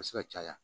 A bɛ se ka caya